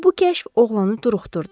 Bu kəşf oğlanı duruxdurdu.